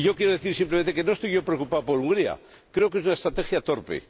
Quiero decir simplemente que no estoy preocupado por Hungría, creo que es una estrategia torpe.